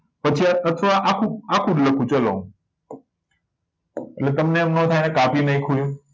પછી આ તત્વ આખું જ આખું જ લખું ચલો એટલે તમને એમ નો થાય આ કાપી નાખ્યું એવું